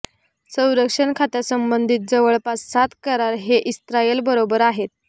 संरक्षण खात्यांसंबंधित जवळपास सात करार हे इस्रायल बरोबर आहेत